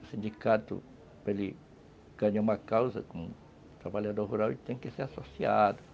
O sindicato ganhou uma causa com o trabalhador rural e tem que ser associado.